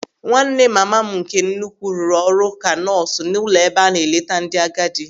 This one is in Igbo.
Nwanne mama m nke nnukwu rụrụ ọrụ ka nọọsụ n'ụlọ ebe a na-eleta ndị agadi.